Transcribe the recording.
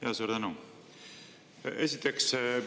Jaa, suur tänu!